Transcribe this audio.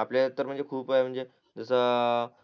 आपल्या तर खूप आहे म्हणजे जसा